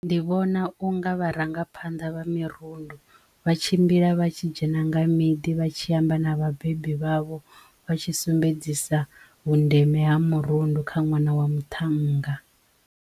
Ndi vhona unga vharangaphanḓa vha mirundu vha tshimbila vha tshi dzhena nga miḓi vha tshi amba na vhabebi vhavho vha tshi sumbedzisa vhundeme ha murundu kha ṅwana wa muthannga.